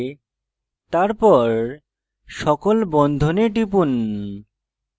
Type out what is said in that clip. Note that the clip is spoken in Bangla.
তারপর সকল বন্ধনে টিপুন